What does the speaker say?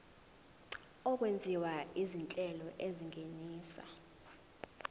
okwenziwa izinhlelo ezingenisa